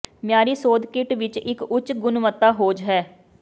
ਮਿਆਰੀ ਸੋਧ ਕਿੱਟ ਵਿੱਚ ਇੱਕ ਉੱਚ ਗੁਣਵੱਤਾ ਹੋਜ਼ ਹੈ